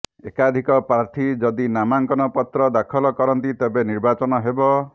ଏକାଧିକ ପ୍ରାର୍ଥୀ ଯଦି ନାମାଙ୍କନ ପତ୍ର ଦାଖଲ କରନ୍ତି ତେବେ ନିର୍ବାଚନ ହେବ